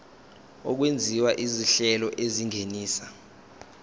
okwenziwa izinhlelo ezingenisa